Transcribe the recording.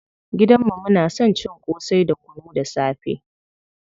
Gidan mu muna son cin ƙosai da kunu da safe.